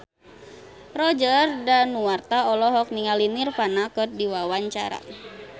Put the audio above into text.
Roger Danuarta olohok ningali Nirvana keur diwawancara